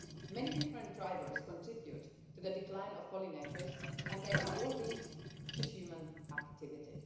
Many different drivers contribute to the decline of pollinators and they are all linked to human activity.